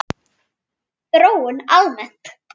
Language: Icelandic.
Þróun almennt